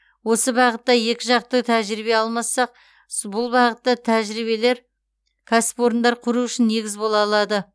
осы бағытта екіжақты тәжірибе алмассақ бұл бағытта тәжірибелер кәсіпорындар құру үшін негіз бола алады